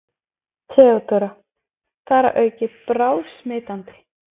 THEODÓRA: Þar að auki bráðsmitandi!